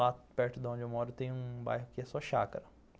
Lá perto de onde eu moro tem um bairro que é só chácara.